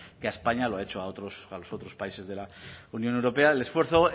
que a españa lo ha hecho a los otros países de la unión europea el esfuerzo